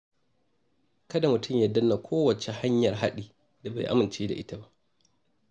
Kada mutum ya danna kowace hanyar haɗi da bai aminta da ita ba.